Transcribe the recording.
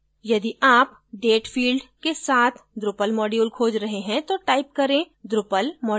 यदि आप date field के साथ drupal module खोज रहे हैं तो type करें drupal module date